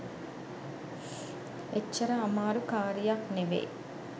එච්චර අමාරු කාරියක් නෙවේ